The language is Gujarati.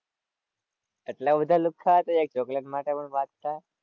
એટલાં બધા લુખ્ખા હતાં? એક ચોકલેટ માટે પણ બાઝતા.